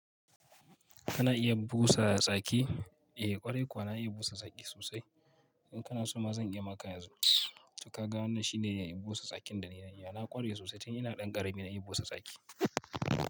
Kana iya busa saki? Eh, ƙwarai kuwa na iya busa saki sosai. In kana so ma zan iya maka yanzu. To ka ga wannan shine busa sakin da na yi. Na ƙware sosai tun ina ɗan ƙarami na iya busa saki.